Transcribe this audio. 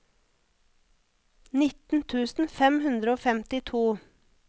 nitten tusen fem hundre og femtito